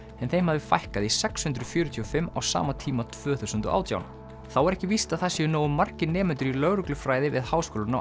en þeim hafði fækkað í sex hundruð fjörutíu og fimm á sama tíma tvö þúsund og átján þá er ekki víst að það séu nógu margir nemendur í lögreglufræði við Háskólann á